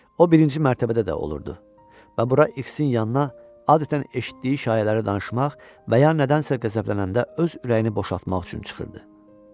O birinci mərtəbədə də olurdu və bura İksin yanına adətən eşitdiyi şayiələri danışmaq və ya nədənsə qəzəblənəndə öz ürəyini boşaltmaq üçün çıxırdı.